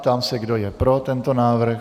Ptám se, kdo je pro tento návrh.